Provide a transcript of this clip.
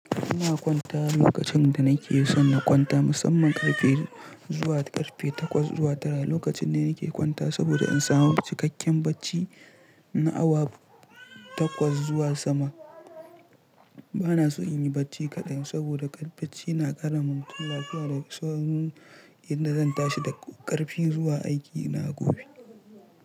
Ina kwanta lokacin da nake so na kwanta, musamman karfe zuwa karfe takwas zuwa tara. Lokacin ne nake kwanta saboda in samu cikakken bacci na awa takwas zuwa sama. Bana so in yi bacci kaɗan saboda ƙar bacci na ƙara ma mutum lafiya da natsanuwan, inda zan tashi da ƙarfi zuwa aiki na gobe.